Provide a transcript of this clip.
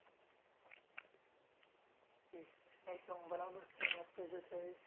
હમ એકદમ બરાબર sir વાત કહે છે સાહિબ